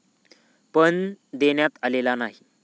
पण, देण्यात आलेला नाही.